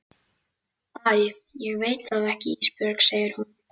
Æ ég veit það ekki Ísbjörg, segir hún.